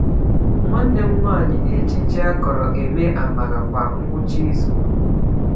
Nwanne m nwanyị na-eji ji akọrọ eme amala kwa ngwụcha izu.